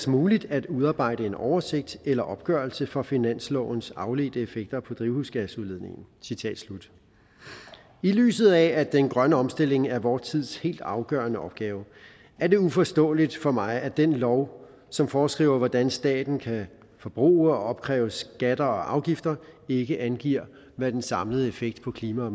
muligt at udarbejde en oversigt eller opgørelse for finanslovens afledte effekter på drivhusgasudledningen i lyset af at den grønne omstilling er vor tids helt afgørende opgave er det uforståeligt for mig at den lov som foreskriver hvordan staten skal bruge opkræve skatter og afgifter ikke angiver hvad den samlede effekt på klimaet og